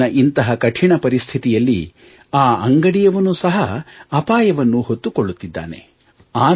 ಇಂದಿನ ಇಂತಹ ಕಠಿಣ ಪರಿಸ್ಥಿತಿಯಲ್ಲಿ ಆ ಅಂಗಡಿಯವನೂ ಸಹ ಅಪಾಯವನ್ನು ಹೊತ್ತುಕೊಳ್ಳುತ್ತಿದ್ದಾನೆ